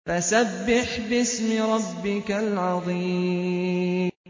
فَسَبِّحْ بِاسْمِ رَبِّكَ الْعَظِيمِ